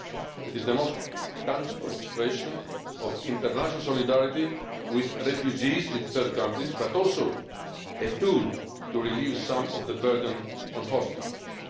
protection. It is the most tangible expression of international solidarity with refugees in third countries but also a tool to relieve some of the burden on host